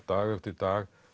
dag eftir dag